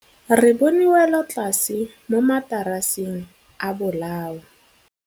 Re bone wêlôtlasê mo mataraseng a bolaô.